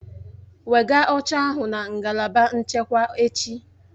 Wegaa oche ahụ na ngalaba nchekwa echi!